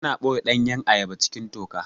Ana ɓoye ɗanyan ayaba cikin toka